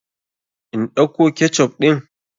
In ɗauko ketchup ɗin?